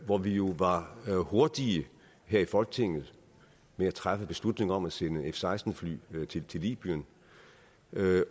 hvor vi jo var hurtige her i folketinget med at træffe beslutning om at sende f seksten fly til libyen